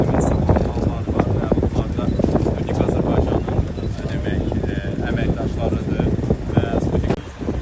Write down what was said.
Demək salonlarda nömrələr var, nömrələrdə unik Azərbaycanın demək əməkdaşlarıdır və Sputnik.